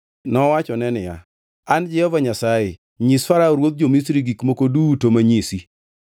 nowachone niya, “An Jehova Nyasaye. Nyis Farao ruodh jo-Misri gik moko duto manyisi.”